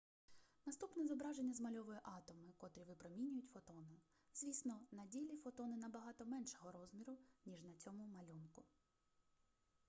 наступне зображення змальовує атоми котрі випромінюють фотони звісно на ділі фотони набагато меншого розміру ніж на цьому малюнку